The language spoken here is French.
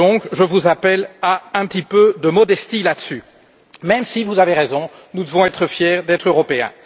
Je vous appelle donc à un petit peu de modestie sur ces sujets, même si, vous avez raison, nous devons être fiers d'être européens.